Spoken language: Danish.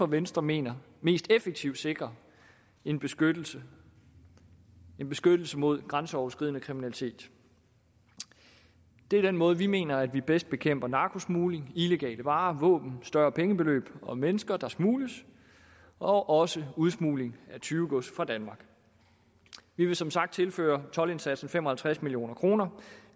venstre mener mest effektivt sikrer en beskyttelse en beskyttelse mod grænseoverskridende kriminalitet det er den måde hvorpå vi mener at man bedst bekæmper narkosmugling illegale varer våben større pengebeløb og mennesker der smugles og også udsmugling af tyvegods fra danmark vi vil som sagt tilføre toldindsatsen fem og halvtreds million kroner